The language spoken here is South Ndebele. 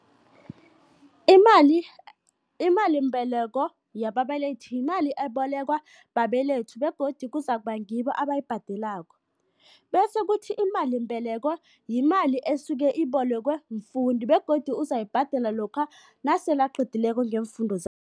Imalimbeleko yababelethi yimali ebolekwa babelethi begodu kuzakuba ngibo abayibhadelako, bese kuthi imalimbeleko yimali esuke ibolekwe mfundi begodu uzoyibhadela lokha nasele aqedileko ngeemfundo